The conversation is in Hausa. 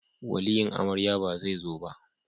Waliyin amarya ba zai zo ba